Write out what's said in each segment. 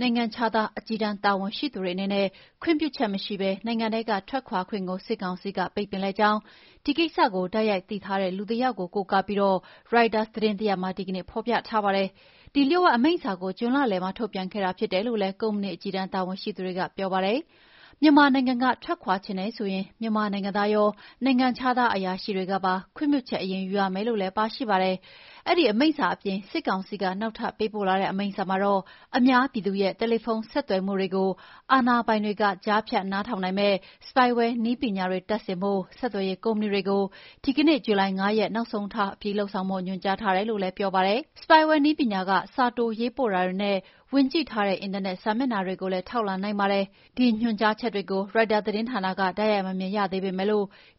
နိုင်ငံခြားသားအကြီးတန်းတာဝန်ရှိသူတွေအနေနဲ့ ခွင့်ပြုချက်မရှိဘဲ နိုင်ငံထဲကထွက်ခွါခွင့်ကို စစ်ကောင်စီက ပိတ်ပင်လိုက်ကြောင်း ဒီကိစ္စကိုတိုက်ရိုက်သိရှိထားတဲ့လူတယောက်ကိုကိုးကားပြီးရိုက်တာသတင်းတရပ်မှာ ဒီကနေ့ဖော်ပြထားပါတယ်။ ဒီလျှို့ဝှက်အမိန့်စာကို ဂျွန်လလယ်မှာထုတ်ပြန်ခဲ့တာဖြစ်တယ်လို့လည်းကုမ္ပဏီအကြီးတန်းတာဝန်ရှိသူတွေကပြောပါတယ်။ မြန်မာနိုင်ငံကထွက်ခွါချင်တယ်ဆိုရင် မြန်မာနိုင်ငံသားရော နိုင်ငံခြားသားအရာရှိတွေကပါ ခွင့်ပြုချက်အရင်ယူရမယ်လို့လည်းပါရှိပါတယ်။ အဲဒီအမိန့်စာအပြင် စစ်ကောင်စီက နောက်ထပ်ပေးပို့လာတဲ့အမိန့်စာမှာတော့ အများပြည်သူရဲ့တယ်လီဖုန်းဆက်သွယ်မှုတွေကို အာဏာပိုင်တွေက ကြားဖြတ် နားထောင်နိုင်မယ့်spyware နည်းပညာတွေ တပ်ဆင်ဖို့ ဆက်သွယ်ရေးကုမ္ပဏီတွေ ဒီကနေ့ ဇူလိုင်လ ၅ ရက်နေ့နောက်ဆုံးထား အပြီးလုပ်ဆောင်ဖို့ ညွှန်ကြားထားတယ်လို့လည်း ပြောပါတယ်။ Spyware နည်းပညာက စာတိုရေးပို့တာတွေနဲ့ ဝင်ကြည့်ထားတဲ့ အင်တာနက်စာမျက်နှာတွေကိုလည်း ထောက်လှမ်းနိုင်ပါတယ်။ ဒီညွှန်ကြားချက်တွေကို ရိုက်တာသတင်းဌာနက တိုက်ရိုက်မမြင်ရသေးပေမယ့်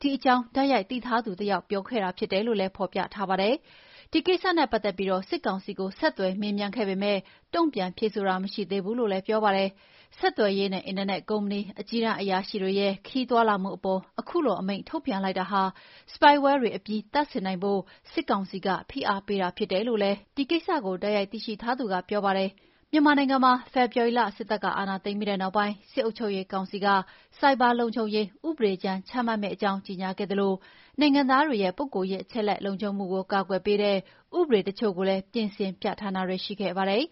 ဒီအကြောင်း တိုက်ရိုက်သိထားသူ တယောက်ကပြောဆိုခဲ့တာဖြစ်တယ်လို့လည်း ဖော်ပြထားပါတယ်။ ဒီကိစ္စနဲ့ပတ်သက်ပြီး စစ်ကောင်စီကို ဆက်သွယ်မေးမြန်းပေမယ့် တုံ့ပြန်ဖြေဆိုတာ မရှိသေးဘူးလို့လည်း ပြောပါတယ်။ ဆက်သွယ်ရေးနဲ့အင်တာနက်ကုမ္ပဏီ အကြီးတန်းအရာရှိတွေရဲ့ခရီးသွားလာမှုအပေါ်ခုလိုအမိန့်ထုတ်ပြန်လိုက်တာဟာ spyware တွေ အပြီးသတ်တပ်ဆင်ဖို့ စစ်ကောင်စီက ဖိအားပေးတာဖြစ်တယ်လို့လည်း ဒီကိစ္စ တိုက်ရိုက်သိရှိထားသူက ပြောပါတယ်။ မြန်မာနိုင်ငံမှာ ဖေဖော်ဝါရီလ စစ်တပ် အာဏာသိမ်းပြီးနောက်ပိုင်း စစ်အုပ်ချုပ်ရေးကောင်စီက ဆိုက်ဘာလုံခြုံရေး ဥပဒေကြမ်း ချမှတ်မယ့်အကြောင်း ကြေညာခဲ့သလို နိုင်ငံသားတွေရဲ့ ပုဂ္ဂိုလ်ရေးအချက်အလက် လုံခြုံမှုကို ကာကွယ်ပေးတဲ့ ဥပဒေတချို့ကိုလည်း ပြင်ဆင် ပြဌာန်းတာတွေ ရှိခဲ့ပါတယ်